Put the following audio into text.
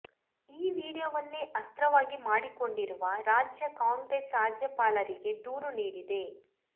ಈ ವಿಡಿಯೋವನ್ನೇ ಅಸ್ತ್ರವಾಗಿ ಮಾಡಿಕೊಂಡಿರುವ ರಾಜ್ಯ ಕಾಂಗ್ರೆಸ್ ರಾಜ್ಯಪಾಲರಿಗೆ ದೂರು ನೀಡಿದೆ